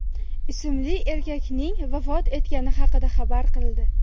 ismli erkakning vafot etgani haqida xabar qildi .